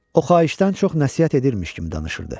O xahişdən çox nəsihət edirmiş kimi danışırdı.